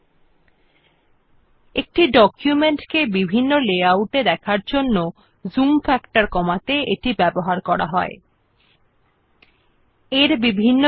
it is used to reduce the zoom factor to see the effects of different view layout settings in the document